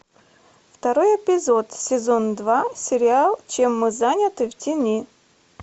второй эпизод сезон два сериал чем мы заняты в тени